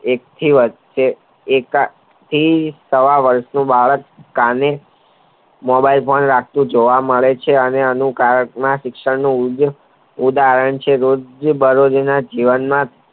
એક થી સાવ વર્ષનું બાળક કાને મોબાઈલ પણ રાખતું જોવા મળે છે અને એનું કારણમાં શિક્ષણ ઉદાહરણ છે બારેરી ના જીવનમાં